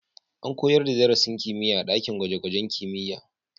An koyar da darasin kimiyya a ɗakin gwaje-gwajen kimiyya